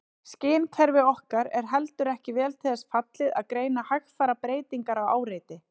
Skynkerfi okkar er heldur ekki vel til þess fallið að greina hægfara breytingar á áreiti.